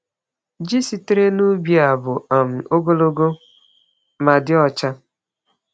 Ji sitere n’ubi a bụ um ogologo ma dị ọcha.